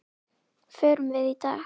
Förum við í dag?